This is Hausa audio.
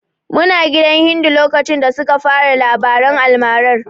Muna gidan Hindu lokacin da suka fara labaran almarar.